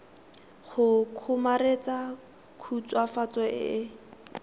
go kgomaretsa khutswafatso e e